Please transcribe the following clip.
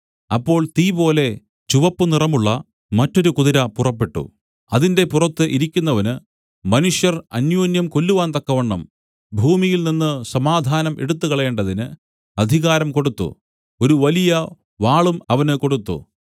അപ്പോൾ തീപോലെ ചുവപ്പു നിറമുള്ള മറ്റൊരു കുതിര പുറപ്പെട്ടു അതിന്റെ പുറത്ത് ഇരിക്കുന്നവന് മനുഷ്യർ അന്യോന്യം കൊല്ലുവാൻ തക്കവണ്ണം ഭൂമിയിൽനിന്നു സമാധാനം എടുത്തുകളയേണ്ടതിന് അധികാരം കൊടുത്തു ഒരു വലിയ വാളും അവന് കൊടുത്തു